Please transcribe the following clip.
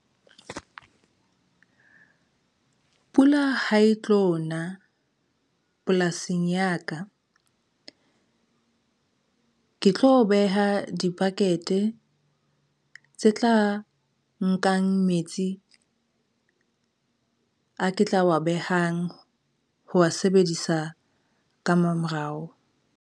Pula ha e tlo na polasing ya ka, ke tlo beha dibakete tse tla nkang metsi a ke tla wa behang ho wa sebedisa ka mamorao.